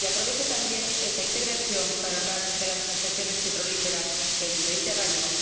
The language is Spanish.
Y aprovecho también esta intervención para hablar de las prospecciones petrolíferas en el Mediterráneo.